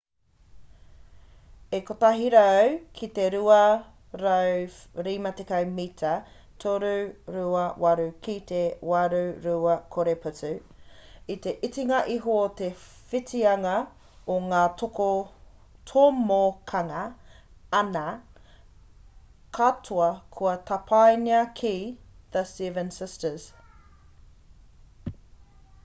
e 100 ki te 250 mita 328 ki te 820 putu i te itinga iho te whitianga o nga tomokanga ana katoa kua tapaina ki the seven sisters